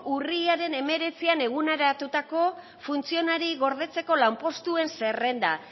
urriaren hemeretzian eguneratutako funtzionari gordetzeko lanpostuen zerrenda